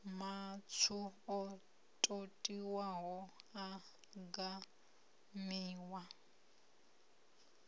matswu o totiwaho a gamiwa